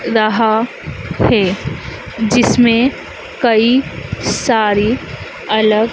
रहा है जिसमें कई सारी अलग--